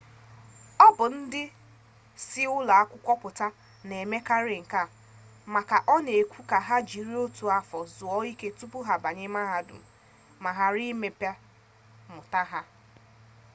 ọ bụ ndị si ụlọ akwụkwọ pụta na-emekarị nke a maka ọ na-ekwe ka ha jiri otu afọ zuo ike tupu ha abanye mahadum ma ghara imebi mmụta ha